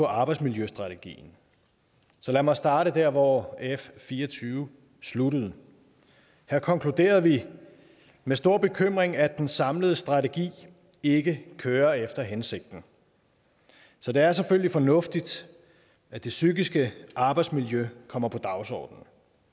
arbejdsmiljøstrategien så lad mig starte der hvor f fire og tyve sluttede her konkluderede vi med stor bekymring at den samlede strategi ikke kører efter hensigten så det er selvfølgelig fornuftigt at det psykiske arbejdsmiljø kommer på dagsordenen